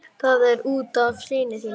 Og kann vera að fleira fréttist.